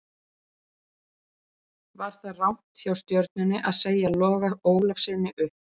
Var það rangt hjá Stjörnunni að segja Loga Ólafssyni upp?